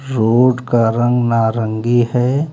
Road का रंग नारंगी है।